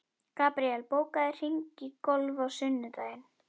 Gabriel, bókaðu hring í golf á sunnudaginn.